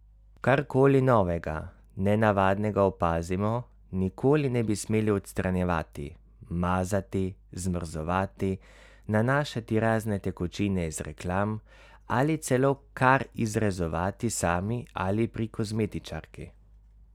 Karkoli novega, nenavadnega opazimo, nikoli ne bi smeli odstranjevati, mazati, zmrzovati, nanašati razne tekočine iz reklam ali celo kar izrezovati sami ali pri kozmetičarki!